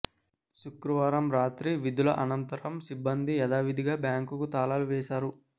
శుక్రవారం రాత్రి విధుల అనంతరం సిబ్బంది యధావిధిగా బ్యాంకు కు తాళాలు వేశారు